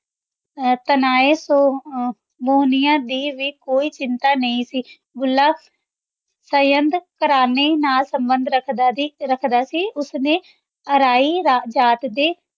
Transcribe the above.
ਤਾਨੇ ਕੋ ਦੀ ਵੀ ਕੋਈ ਚਿੰਤਾ ਨਾਈ ਸੀ ਭੁੱਲਾ ਸਏਦ ਘਰਾਨੇ ਨਾਲ ਸੰਭੰਦ ਰਖਦਾ ਸੀ ਰਖਦਾ ਸੀ ਓਸਨੇ ਅਰੀਨ ਜਾਤ ਦੇ